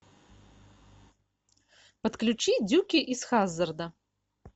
подключи дюки из хаззарда